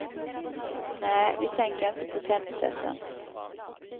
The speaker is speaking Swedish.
Nej, vi tänker inte på tennisässen.